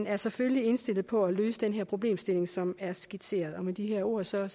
er selvfølgelig indstillet på at løse den problemstilling som er skitseret med de ord ser jeg